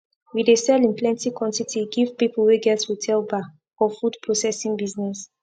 we dey sell in plenty quantity give people wey get hotel bar or food processing business